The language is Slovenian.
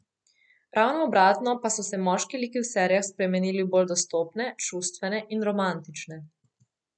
Ravno obratno pa so se moški liki v serijah spremenili v bolj dostopne, čustvene in romantične.